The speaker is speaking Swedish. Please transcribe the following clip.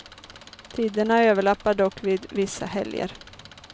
Tiderna överlappar dock vid vissa helger.